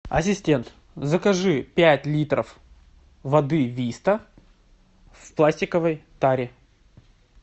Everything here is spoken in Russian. ассистент закажи пять литров воды виста в пластиковой таре